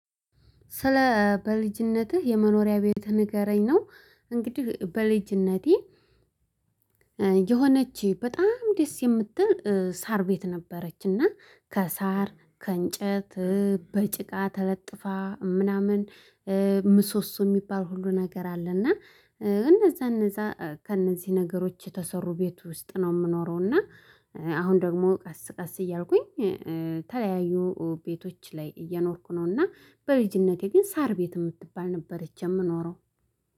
ስለ በልጅነትህ የመኖሪያ ቤትህ ንገረኝ? ነው እንግዲህ በልጅነቴ የሆነች በጣም ደስ የምትል ሳር ቤት ነበረችና ከሳር ከእንጨት በጭቃ ተለጥፋ ምናምን። ምሶሶ የሚባል ሁሉ ነገር አለ። እና እነዛ እነዛ ከእነዚህ ነገሮች የተሰሩ ቤት ውስጥ ነው የምኖረውና። አሁን ደግሞ ቀስ ቀስ እያልኩኝ ተለያዩ ቤቶች ላይ እየኖርኩ ነው። እና በልጅነቴ ግን ሳር ቤት የምትባል ነበረች የምኖረው